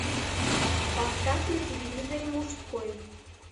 поставь на телевизоре мужской